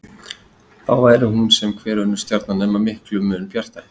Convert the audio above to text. Þá væri hún sem hver önnur stjarna nema miklum mun bjartari.